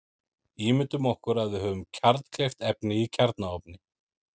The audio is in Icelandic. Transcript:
Ímyndum okkur að við höfum kjarnkleyft efni í kjarnaofni.